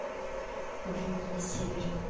например на севере